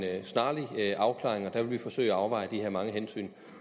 snarlig afklaring og der vil vi forsøge at afveje de her mange hensyn